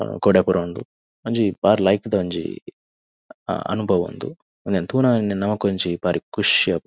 ಆ ಕೊಡೆ ಪುರ ಉಂಡು ಒಂಜಿ ಬಾರಿ ಲಾಯ್ಕ್ ದ ಒಂಜಿ ಆ ಅನುಬವ ಉಂದು ಉಂದೆನ್ ತೂನಗನೆ ನಮಕ್ ಒಂಜಿ ಬಾರಿ ಖುಷಿ ಆಪುಂಡು.